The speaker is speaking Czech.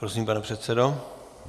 Prosím, pane předsedo.